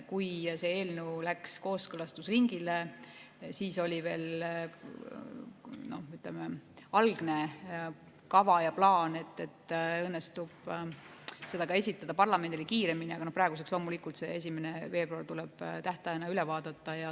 Kui see eelnõu läks kooskõlastusringile, siis oli veel, ütleme, algne kava ja plaan, et õnnestub eelnõu esitada parlamendile kiiremini, aga loomulikult see 1. veebruar tuleb tähtajana üle vaadata.